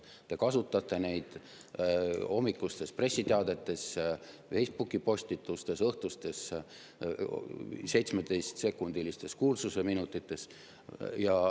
Te kasutate neid hommikustes pressiteadetes, Facebooki-postitustes, õhtustes seitsmeteistkümnesekundilistes kuulsuseminutites.